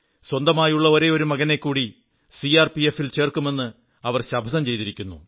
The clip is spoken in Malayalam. സ്വന്തമായുള്ള ഒരേയൊരു മകനെക്കൂടി സിആർപിഎഫിൽ ചേർക്കുമെന്ന് ശപഥം ചെയ്തിരിക്കുന്നു